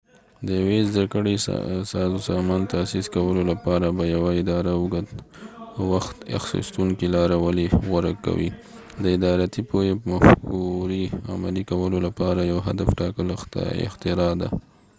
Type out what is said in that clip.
د یوی زده کړی سازمان تاسیس کولو لپاره به یوه اداره د اوږد وخت اخیستونکی لاره ولی غوره کوي د ادارتی پوهی مفکوری عملی کولو لپاره یو هدف ټاکل اختراع ده